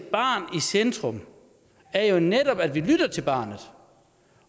centrum er jo netop at vi lytter til barnet